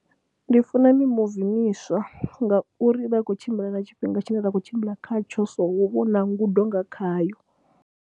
Ndi funa mimuvi miswa ngauri vha khou tshimbila na tshifhinga tshine nda khou tshimbila khatsho so hu vha hu na ngudo nga khayo.